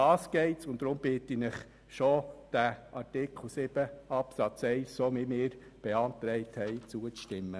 Darum geht es hier, und deshalb bitte ich Sie, unserem Antrag zu Artikel 7 Absatz 1 zuzustimmen.